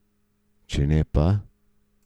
Če ne pa ...